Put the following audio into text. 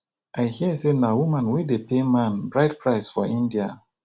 i hear say na woman wey dey pay man bride price for india